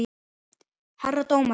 Herra dómari!